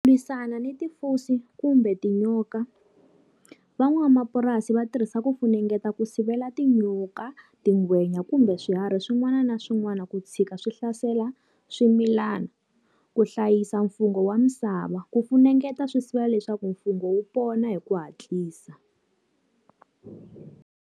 Lwisana ni kumbe tinyoka. Van'wamapurasi va tirhisa ku funengeta ku sivela tinyoka, tingwenya kumbe swiharhi swin'wana na swin'wana ku tshika ka swi hlasela swimilana. Ku hlayisa mfungho wa misava, ku funengeta swi sivela leswaku mfungho wu pona hi ku hatlisa.